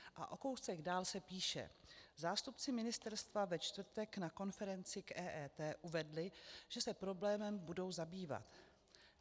A o kousek dál se píše: "Zástupci ministerstva ve čtvrtek na konferenci k EET uvedli, že se problémem budou zabývat.